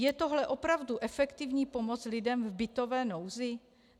Je tohle opravdu efektivní pomoc lidem v bytové nouzi?